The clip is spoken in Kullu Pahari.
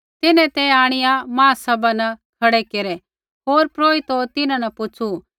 तिन्हैं ते आंणिआ महासभा न खड़ै केरै होर महापुरोहित तिन्हां न पुछ़ू